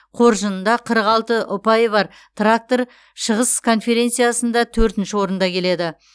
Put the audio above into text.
қоржынында қырық алты ұпайы бар трактор шығыс конференциясында төртінші орында келеді